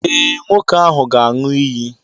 Ee, nwoke ahụ ga-aṅụ iyi.